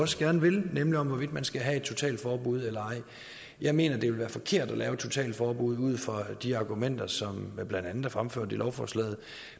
også gerne vil nemlig om hvorvidt man skal have et totalforbud eller ej jeg mener det vil være forkert at lave et totalforbud ud fra de argumenter som blandt andet er fremført i lovforslaget